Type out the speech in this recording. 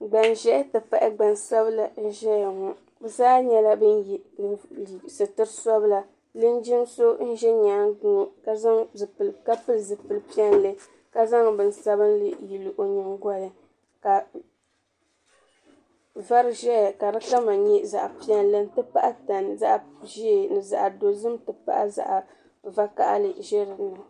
gbanʒehi tipahi gbansabla n ʒɛya ŋɔ bɛ zaa nyɛla ba ye suriti sabila linjin so n ʒi nyaanga ŋɔ ka pili zipil piɛlli ka zaŋ bin sabinli yili o nyingoli ka vari ʒɛya ka di kama nyɛ zaɣa piɛlli n ti pahi tani zaɣa ʒee ni zaɣa dozim tipahi zaɣa zaɣa vakahali.